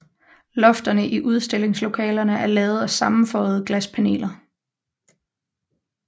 Lofterne i udstillingslokalerne er lavet af sammenføjede glaspaneler